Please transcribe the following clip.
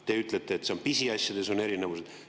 Te ütlete, et pisiasjades on erinevused.